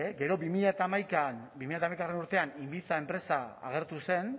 gero bi mila hamaikagarrena urtean inviza enpresa agertu zen